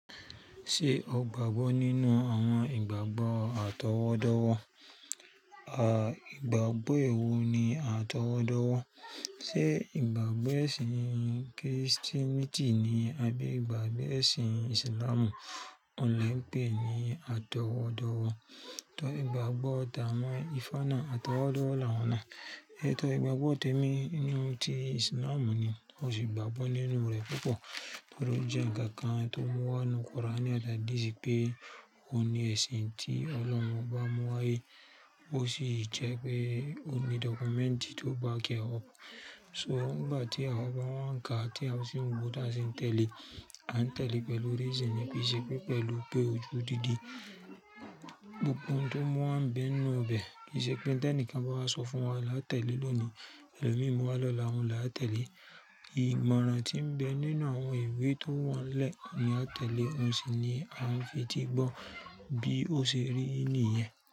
Ṣé o gbàgbọ́ nínú àwọn ìgbàgbọ́ àtọwọ́dọ́wọ́? Ìgbàgbọ́ ewo ni àtọwọ́dọ́wọ́? Ṣé ìgbàgbọ́ ẹ̀sìn Kìrìsìtẹ́nì ni àbí ìgbàgbọ́ ẹ̀sìn Ìsìlámù ọ̀un le n pé ni àtọwọ́dọ́wọ́? To ìgbàgbọ́ tawon Ifá náà àtọwọ́dọ́wọ́ làwọn náà. Ẹ̀tọ́ ìgbàgbọ́ tèmi nínú ti Ìsìlámù ni, o sì gbàgbọ́ nínú rẹ̀ púpọ̀ nítorí ó jẹ́ ǹkan kan tó mú wá nínú Quran àti Hadith pé ó ní ẹ̀sìn tí Ọlọ́run bá mú wá yìí, ó sì jẹ́ pé ó ní dọ́kúmẹ́ǹtì tó back e up. So nígbà tí àwa bá wá ǹka tí a sì ń wò táṣin tẹ̀lé, a ń tẹ̀lé pẹ̀lú reasonì, kì í ṣe pé pẹ̀lú pé ojúùdídi. Gbogbo tó mú a ń bẹ nínú bẹ, kì í ṣe pé tí ẹnìkan bá wá sọ fún wa la tẹ̀lé lóòní, ẹlòmí mú wá lọ́la òun la tẹ̀lé. Ìmoran tí ń bẹ nínú àwọn ìwé tó wà ńlẹ̀ oun ni a tẹ̀lé, òun sì ni a fi eti gbọ́ bí ó ṣe rí ní yẹn.